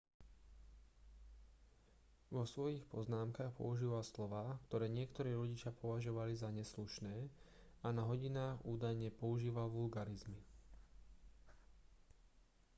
vo svojich poznámkach používal slová ktoré niektorí rodičia považovali za neslušné a na hodinách údajne používal vulgárizmy